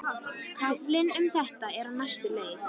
Kaflinn um þetta er á þessa leið